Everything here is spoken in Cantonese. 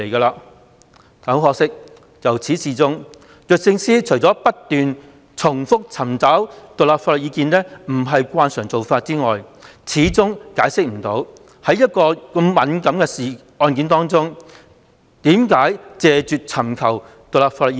不過，可惜的是，律政司由始至終除不斷重複尋求獨立法律意見不是慣常做法外，始終無法解釋為何拒絕就一宗如此敏感的案件尋求獨立法律意見。